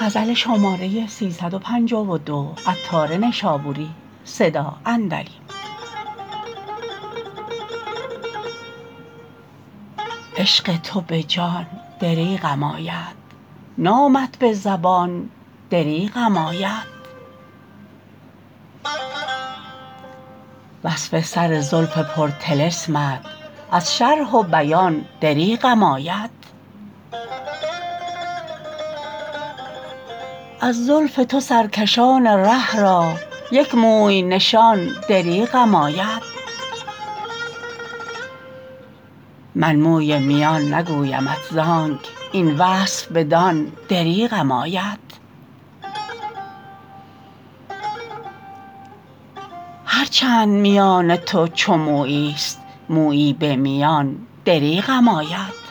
عشق تو به جان دریغم آید نامت به زبان دریغم آید وصف سر زلف پر طلسمت از شرح و بیان دریغم آید از زلف تو سرکشان ره را یک موی نشان دریغم آید من موی میان نگویمت زانک این وصف بدان دریغم آید هر چند میان تو چو مویی است مویی به میان دریغم آید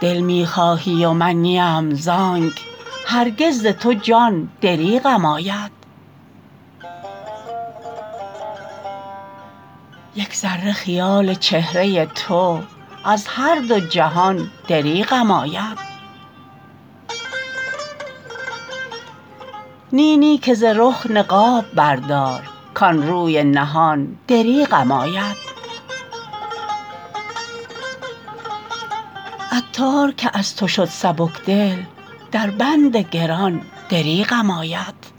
دل می خواهی و من نیم آنک هرگز ز تو جان دریغم آید یک ذره خیال چهره تو از هر دو جهان دریغم آید نی نی که ز رخ نقاب بردار کان روی نهان دریغم آید عطار چون از تو شد سبک دل در بند گران دریغم آید